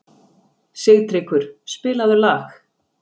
Sigtryggur, spilaðu lag.